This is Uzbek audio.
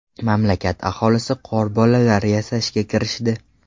Mamlakat aholisi qorbolalar yasashga kirishdi.